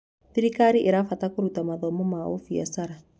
Thirikari ĩrabatara kũruta mathomo ma ũbiacara.